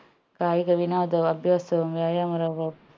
കായിക വിനോദവും അഭ്യാസവും വ്യായാമുറകളും